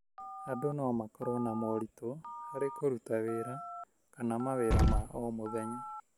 Andũ no makorwo na moritũ harĩ kũruta wĩra kana mawĩra ma o mũthenya,